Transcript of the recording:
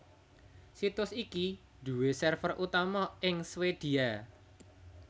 Situs iki nduwé server utama ing Swédia